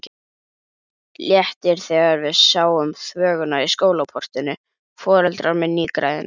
Léttir þegar við sjáum þvöguna í skólaportinu, foreldrar með nýgræðinga.